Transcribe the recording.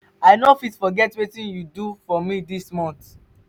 i no fit forget wetin you do for me this this month.